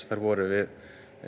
þær voru